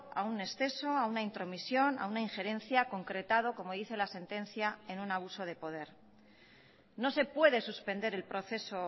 a un exceso a una intromisión a una injerencia concretado como dice la sentencia en un abuso de poder no se puede suspender el proceso